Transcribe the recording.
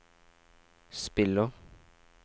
spiller